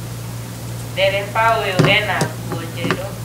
Ndereba ũyũ ena nguo njerũ